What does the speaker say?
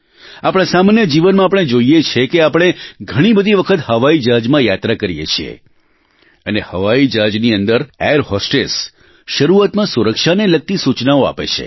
આપણા સામાન્ય જીવનમાં આપણે જોઇએ છીએ કે આપણે ઘણી બધી વખત હવાઈ જહાજમાં યાત્રા કરીએ છીએ અને હવાઇ જહાજની અંદર એર હોસ્ટેસ શરૂઆતમાં સુરક્ષાને લગતી સૂચનાઓ આપે છે